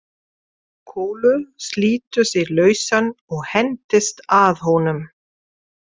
Kolur slítur sig lausan og hendist að honum.